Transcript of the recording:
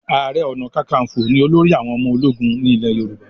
aré ọnà kankanfo ní olórí àwọn ọmọ ológun ní ilè yorùbá